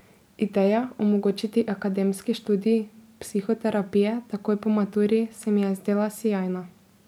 Ideja, omogočiti akademski študij psihoterapije takoj po maturi, se mi je zdela sijajna.